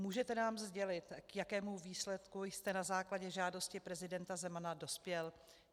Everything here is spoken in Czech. Můžete nám sdělit, k jakému výsledku jste na základě žádosti prezidenta Zemana dospěl?